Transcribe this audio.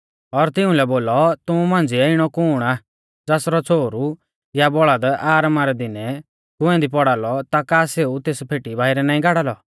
और तिउंलै बोलौ तुमु मांझ़िऐ इणौ कुण आ ज़ासरौ छ़ोहरु या बौल़द आरामा रै दिनै कुंऐ दी पौड़ालौ ता का सेऊ तेस फेटी बाइरै नाईं गाड़ा लौ